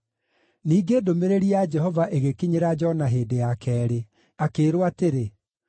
Ningĩ ndũmĩrĩri ya Jehova ĩgĩkinyĩra Jona hĩndĩ ya keerĩ, akĩĩrwo atĩrĩ: